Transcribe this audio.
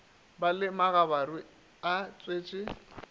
ba le megabaru e tšwetše